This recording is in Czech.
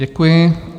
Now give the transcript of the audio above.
Děkuji.